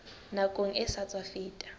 nakong e sa tswa feta